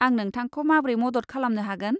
आं नोंथांखौ माब्रै मदद खालामनो हागोन?